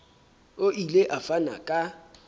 o ile a fana ka